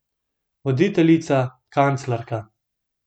Voditeljica, kanclerka.